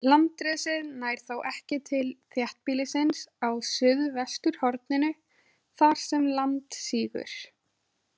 Landrisið nær þó ekki til þéttbýlisins á suðvesturhorninu, þar sem land sígur.